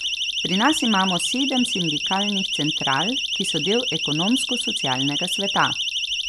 Pri nas imamo sedem sindikalnih central, ki so del Ekonomsko socialnega sveta.